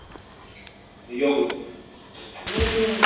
йогурт